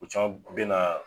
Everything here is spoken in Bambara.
U caman bɛ na.